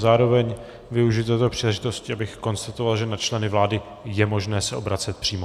Zároveň využiji této příležitosti, abych konstatoval, že na členy vlády je možné se obracet přímo.